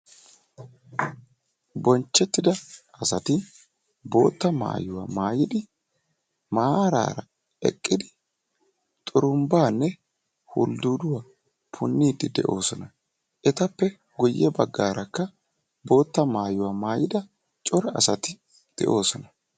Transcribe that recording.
Bonchchetida asati boottaa maayyuwa maayyidi maarara eqqidi xurumbbanne huldduduwa puunidi de'oosona. Etappe guyye baggaarakka bootta maayyuwaa naayyida cora asati de'oosona.